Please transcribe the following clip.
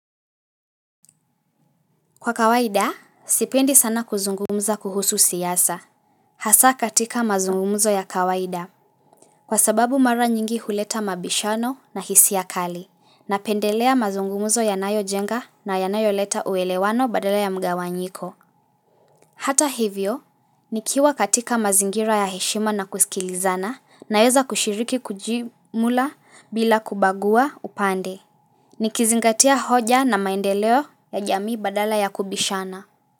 Kwa kawaida, sipendi sana kuzungumza kuhusu siyasa. Hasa katika mazungumzo ya kawaida. Kwa sababu mara nyingi huleta mabishano na hisia kali. Napendelea mazungumzo ya nayo jenga na yanayo leta uelewano badala ya mgawanyiko. Hata hivyo, nikiwa katika mazingira ya heshima na kusikilizana naeza kushiriki kujimula bila kubagua upande. Nikizingatia hoja na maendeleo ya jamii badala ya kubishana.